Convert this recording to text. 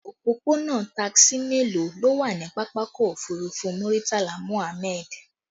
Òpópónà taxi mélòó ló wà ní pápákọ̀ òfurufú Muritala Muhammad?